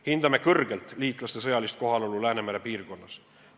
Hindame kõrgelt liitlaste sõjalist kohalolu Läänemere piirkonnas.